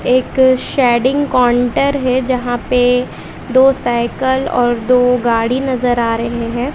एक शेडिंग काउंटर है जहां पे दो साइकिल और दो गाड़ी नजर आ रहे हैं।